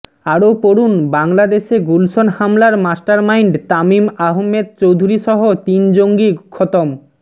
আরও পড়ুন বাংলাদেশে গুলশন হামলার মাস্টারমাইন্ড তামিম আহমেদ চৌধুরী সহ তিন জঙ্গি খতম